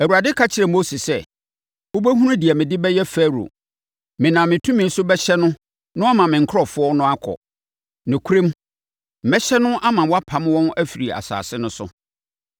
Awurade ka kyerɛɛ Mose sɛ, “Wobɛhunu deɛ mede bɛyɛ Farao. Menam me tumi so bɛhyɛ no na wama me nkurɔfoɔ no akɔ. Nokorɛm, mɛhyɛ no ama wapam wɔn afiri asase no so.”